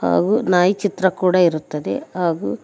ಹಾಗೂ ನಾಯಿ ಚಿತ್ರ ಕೂಡ ಇರುತ್ತದೆ ಹಾಗೂ.